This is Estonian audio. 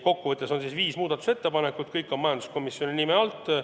Kokku on viis muudatusettepanekut, kõik on esitatud majanduskomisjoni nime all.